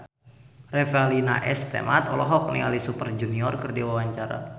Revalina S. Temat olohok ningali Super Junior keur diwawancara